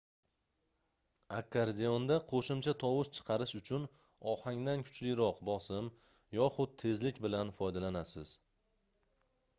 akkordeonda qoʻshimcha tovush chiqarish uchun ohangdan kuchliroq bosim yoxud tezlik bilan foydalanasiz